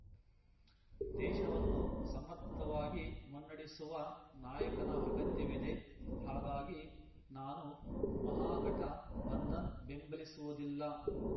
ದೇಶವನ್ನು ಸಮರ್ಥವಾಗಿ ಮುನ್ನಡೆಸುವ ನಾಯಕನ ಅಗತ್ಯವಿದೆ ಹಾಗಾಗಿ ನಾನು ಮಹಾಘಟ ಬಂಧನ್ ಬೆಂಬಲಿಸುವುದಿಲ್ಲ